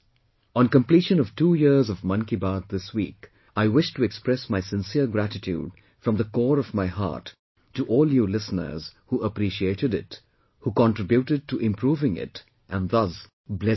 On completion of two years of Mann Ki Baat this week, I wish to express my sincere gratitude from the core of my heart to all you listeners who appreciated it, who contributed to improving it and thus blessed me